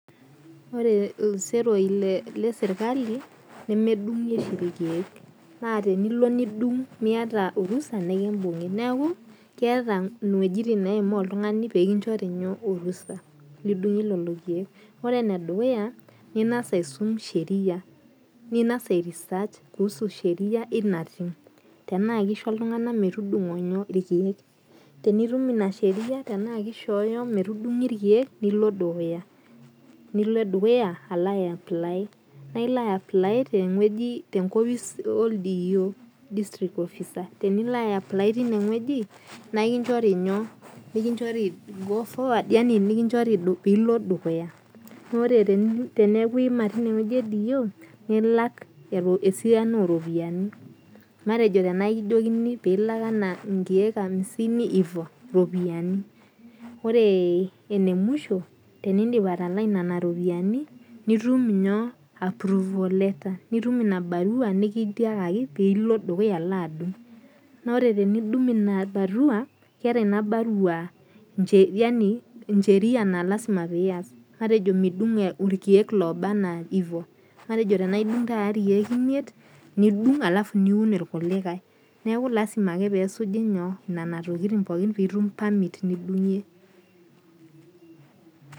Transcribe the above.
Ore iseroi le serkali, nemedung'i oshi ilkeek, naa tenilo nidung' miata orusa nekimbung'i. Neaku keata iwuejitin naimaa oltung'ani pee kinchori orusa lidung'ie lelo keek. Ore ene dukuya, ing'as aisum sheria, ning'as airesearch kuusu sheria ina tim, tanaake eisho iltung'ana metudung'o ilkeek, tenitum ina sheria tanaakeishooyo metudung'i ilkeek nilo dukuya, nilo dukuya alo aiapply, naa ilo aiapply te enkopis oldiio, district officer, tenilo aaiapply teine wueji naa kinchori go forward yani nekinchor pee ilo dukuya. Naa ore teneaku iima teine wueji e diiyo, nilak esiana o iropiani, matejo tanaa kijoki anaa inkeek amisini, ivo, iropiani . Ore ene musho, tenindip atalaa nena rupiani, nitum approval letter, nitum ina barau nekitiakaki pee ilo dukuya alo adung', naa ore tenitum ina barua, keata in barua incheria naa lasima piias, matejo midung' ilkeek lobaa anaa ivo, matejo tanaa idung' taata ilkeek imiet, nidung' alafu niun ilkulikai, neaku lazima ake pee esuji nena tokitin pookin pee itum permit nidung'ie.